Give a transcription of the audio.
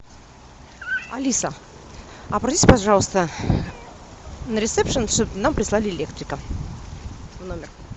алиса обратись пожалуйста на ресепшн чтобы нам прислали электрика в номер